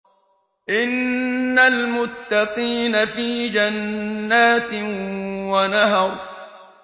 إِنَّ الْمُتَّقِينَ فِي جَنَّاتٍ وَنَهَرٍ